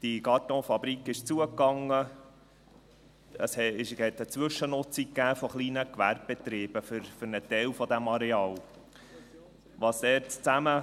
Diese Kartonfabrik ging zu, und es gab eine Zwischennutzung eines Teils dieses Areals durch kleine Gewerbebetriebe.